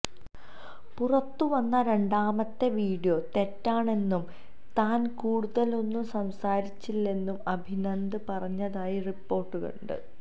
പുറത്തുവന്ന രണ്ടാമത്തെ വീഡിയോ തെറ്റാണെന്നും താന് കൂടുതലൊന്നും സംസാരിച്ചില്ലെന്നും അഭിനന്ദന് പറഞ്ഞതായും റിപ്പോര്ട്ടുണ്ട്